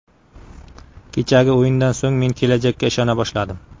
Kechagi o‘yindan so‘ng men kelajakka ishona boshladim.